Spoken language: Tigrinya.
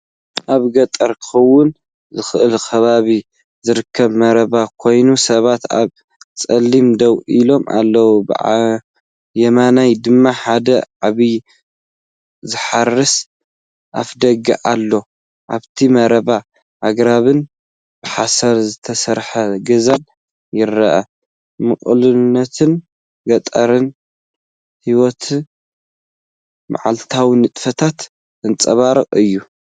ኣብ ገጠር ክኸውን ዝኽእል ከባቢ ዝርከብ መረባ ኮይኑ፡ ሰባት ኣብ ጽላል ደው ኢሎም ኣለዉ። ብየማን ድማ ሓደ ዓቢ ዝሓረሰ ኣፍደገ ኣሎ። ኣብቲ መረባ ኣግራብን ብሓሰር ዝተሰርሐ ገዛን ይርአ። ምቕሉልነትን ገጠራዊ ህይወትን መዓልታዊ ንጥፈታትን ዘንጸባርቕ እዩ።